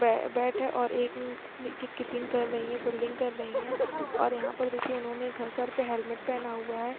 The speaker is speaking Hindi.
बैठे और एक कीपिंग कर रही कर रही है और फील्डिंग कर रही है और यहाँ पर देखिये उन्होनो सर पे हेलमेट पेहेन हुआ है।